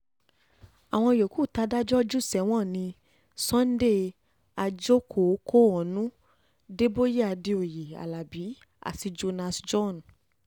àwọn yòókù tàdájọ́ jù sẹ́wọ̀n ní sunday àjọkò kóhónú débóyé àdéoyè aláabi àti jonas john